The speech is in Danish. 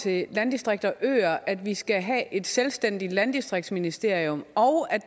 til landdistrikter og øer at vi skal have et selvstændigt landdistriktsministerium og